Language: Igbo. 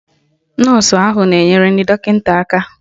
Nọọsụ ahụ na-enyere dọkịta aka.